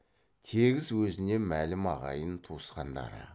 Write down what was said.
тегіс өзіне мәлім ағайын туысқандары